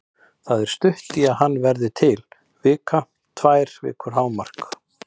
Það er stutt í að hann verði til, vika, tvær vikur hámark.